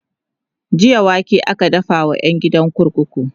jiya wake aka dafa wa ƴan kurkuku